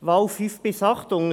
Wahl 5 bis 8: